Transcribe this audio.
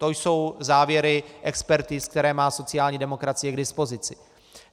To jsou závěry expertiz, které má sociální demokracie k dispozici.